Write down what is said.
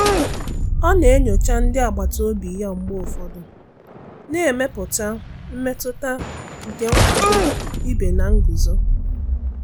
Ọ́ nà-ényóchá ndị́ àgbàtà òbí yá mgbè ụ̀fọ́dụ́, nà-émépụ́tà mmétụ́tà nké nkwàdò íbé nà ngụ́zó.